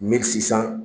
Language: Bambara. Min sisan